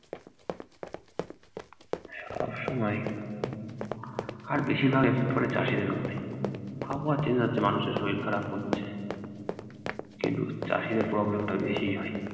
সব সময়। আর বেশিরভাগ একের পর এক চাষীদের উপরে আবহাওয়া change হচ্ছে মানুষের শরীর খারাপ হচ্ছে কিন্তু চাষীদের problem টা বেশিই হয়।